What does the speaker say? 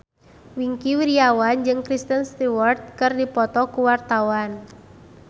Wingky Wiryawan jeung Kristen Stewart keur dipoto ku wartawan